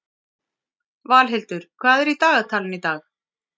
Valhildur, hvað er í dagatalinu í dag?